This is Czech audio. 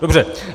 Dobře.